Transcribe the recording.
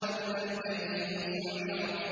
وَإِذَا الْجَحِيمُ سُعِّرَتْ